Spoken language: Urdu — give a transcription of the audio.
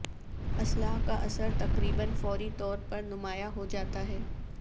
اصلاح کا اثر تقریبا فوری طور پر نمایاں ہو جاتا ہے